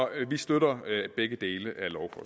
vi støtter begge dele